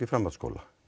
framhaldsskóla